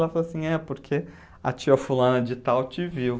Ela falou assim, é porque a tia fulana de tal te viu.